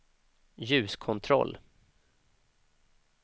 ljuskontroll